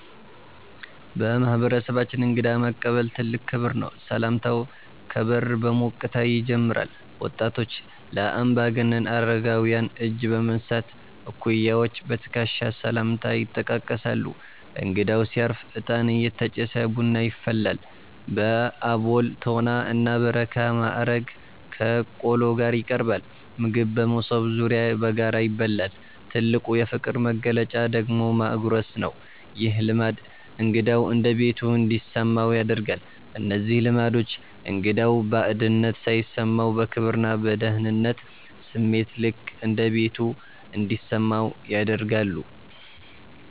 በማህበረሰባችን እንግዳ መቀበል ትልቅ ክብር ነው። ሰላምታው ከበር በሞቅታ ይጀምራል። ወጣቶች ለአምባገነን አረጋውያን እጅ በመንሳት፣ እኩያዎች በትከሻ ሰላምታ ይጠቃቀሳሉ። እንግዳው ሲያርፍ እጣን እየተጨሰ ቡና ይፈላል። በአቦል፣ ቶና እና በረካ ማዕረግ ከቆሎ ጋር ይቀርባል። ምግብ በመሶብ ዙሪያ በጋራ ይበላል። ትልቁ የፍቅር መግለጫ ደግሞ ማጉረስ ነው። ይህ ልማድ እንግዳው እንደ ቤቱ እንዲሰማው ያደርጋል። እነዚህ ልማዶች እንግዳው ባዕድነት ሳይሰማው፣ በክብርና በደህንነት ስሜት "ልክ እንደ ቤቱ" እንዲሰማው ያደርጋሉ።